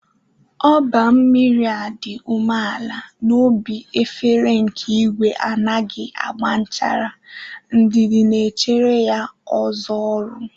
Óba mmiri a dị umeala n'obi efere nke igwe anaghị agba nchara, ndidi na-echere ya ọzọ ọrụ.